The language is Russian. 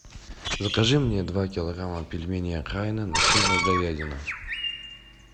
закажи мне два килограмма пельменей окраина начинка говядина